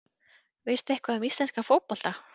Veistu eitthvað um íslenskan fótbolta?